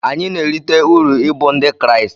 Anyị na-erite uru ịbụ Ndị Kraịst.